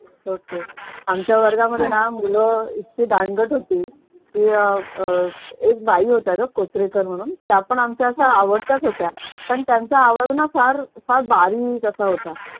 okay आमच्या वर्गामध्ये ना कि मूळ इतकी दांडगट होती कि अह अह एक बाई होत्या ग कोचरेकर म्हणून त्या पण आमच्या आवडत्याच होत्या. पण त्यांचा आवाज ना फार फार बारीक असा होता.